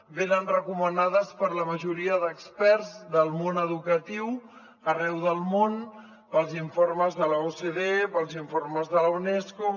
venen recomanades per la majoria d’experts del món educatiu arreu del món pels informes de l’ocde pels informes de la unesco